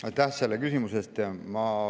Aitäh selle küsimuse eest!